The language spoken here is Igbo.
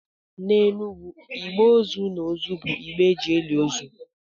N’Enugwu, igbe ozu na ozu bụ igbe e ji eli ozu